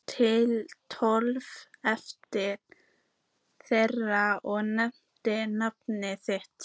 Tiltók efni þeirra og nefndi nafn þitt.